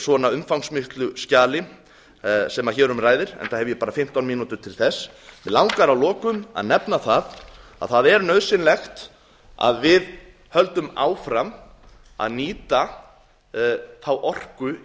svona umfangsmiklu skjali sem hér um ræðir enda hef ég bara fimmtán mínútur til þess mig langar að lokum að nefna að það er nauðsynlegt að við höldum áfram að nýta þá